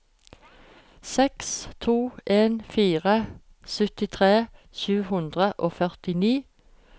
seks to en fire syttitre sju hundre og førtini